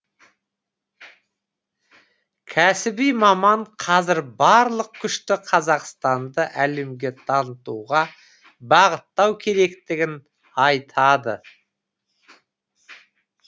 кәсіби маман қазір барлық күшті қазақстанды әлемге танытуға бағыттау керектігін айтады